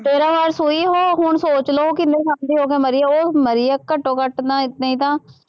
ਤੇਰਾਂ ਵਾਰ ਸੂਈ ਉਹ, ਹੁਣ ਸੋਚ ਲਉ ਉਹ ਕਿੰਨੇ ਸਾਲ ਦੀ ਹੋ ਕੇ ਮਰੀ, ਉਹ ਮਰੀ ਹੈ ਘੱਟੋਂ ਘੱਟ ਨਾ ਨਹੀਂ ਤਾਂ